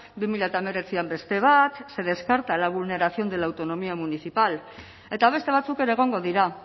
bi mila hemeretzian beste batse descarta la vulneración de la autonomía municipal eta beste batzuk ere egongo dira